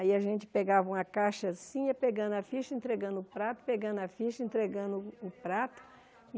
Aí a gente pegava uma caixa assim e ia pegando a ficha, entregando o prato, pegando a ficha, entregando o prato.